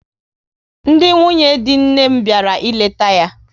Ndị nwunye dị nne m bịara ịleta ya